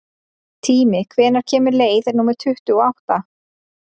Tími, hvenær kemur leið númer tuttugu og átta?